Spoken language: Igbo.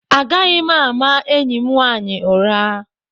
Agaghị m ama enyi m nwanyị ụra.